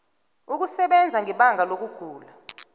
ukusebenza ngebanga lokugula